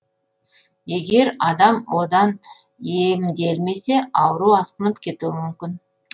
егер адам одан емделмесе ауру асқынып кетуі мүмкін